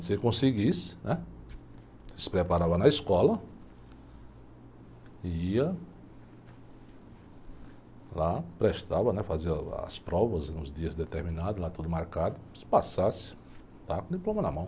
Se você conseguisse, né, você se preparava na escola, ia lá, prestava, né, fazia as provas nos dias determinados, lá tudo marcado, se passasse, estava com o diploma na mão.